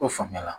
O faamuya la